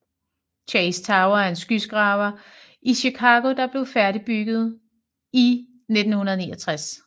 Chase Tower er en skyskraber i Chicago der blev bygget færdig i 1969